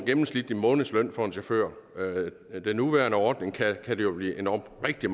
gennemsnitlig månedsløn for en chauffør med den nuværende ordning kan det jo blive endog rigtig